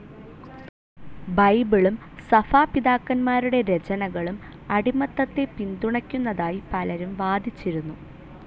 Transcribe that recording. ബൈബിളും സഭാപിതാക്കന്മാരുടെ രചനകളും അടിമത്തത്തെ പിന്തുണക്കുന്നതായി പലരും വാദിച്ചിരുന്നു.